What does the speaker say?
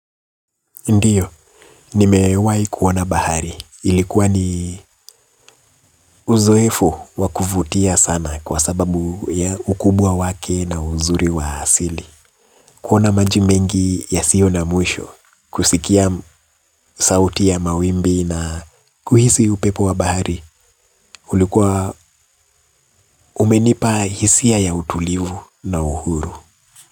Ndiyo, nimewahi kuona bahari. Ilikuwa ni uzoefu wa kuvutia sana kwa sababu ya ukubwa wake na uzuri wa asili. Kuona maji mengi yasiyo na mwisho, kusikia sauti ya mawimbi na kuhisi upepo wa bahari, ulikuwa umenipa hisia ya utulivu na uhuru.